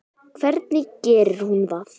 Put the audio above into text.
Hvernig gerir hún það?